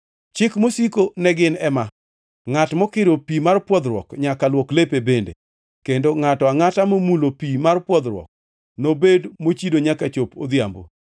Chik mosiko ne gin ema. “Ngʼat mokiro pi mar pwodhruok nyaka luok lepe bende, kendo ngʼato angʼata momulo pi mar pwodhruok nobed mochido nyaka chop odhiambo.